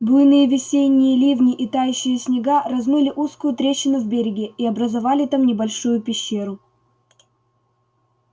буйные весенние ливни и тающие снега размыли узкую трещину в береге и образовали там небольшую пещеру